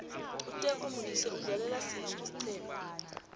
uteko modise udlalela siphi isiqema